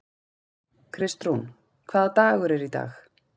Kristrún, hvaða dagur er í dag?